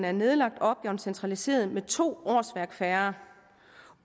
er nedlagt og opgaven er centraliseret med to årsværk færre